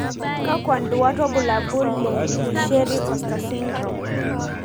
Kakwa nduat wobulabu le Richieri costa syndrome?